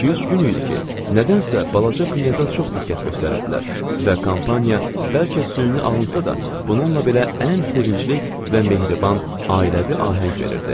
İki, üç gün idi ki, nədənsə balaca Knyaza çox diqqət göstərirdilər və kompaniya bəlkə süni alınsa da, bununla belə ən sevincli və mehriban, ailəvi ahəng verirdi.